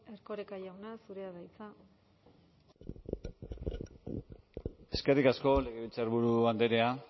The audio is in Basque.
erkoreka jauna zurea da hitza eskerrik asko legebiltzarburu andrea